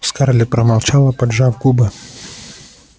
скарлетт промолчала поджав губы